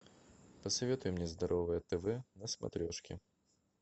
посоветуй мне здоровое тв на смотрешке